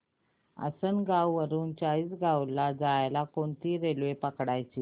आसनगाव वरून चाळीसगाव ला जायला कोणती रेल्वे पकडायची